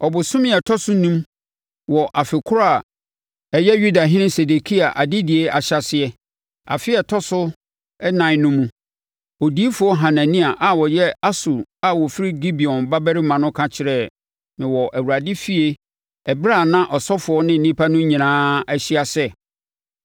Ɔbosome a ɛtɔ so enum wɔ afe korɔ a ɛyɛ Yudahene Sedekia adedie ahyɛaseɛ, afe a ɛtɔ so ɛnan no mu, odiyifoɔ Hanania a ɔyɛ Asur a ɔfiri Gibeon babarima no ka kyerɛɛ me wɔ Awurade efie ɛberɛ a na asɔfoɔ ne nnipa no nyinaa ahyia sɛ,